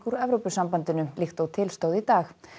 úr Evrópusambandinu líkt og til stóð í dag